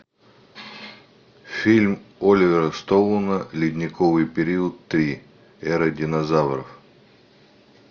фильм оливера стоуна ледниковый период три эра динозавров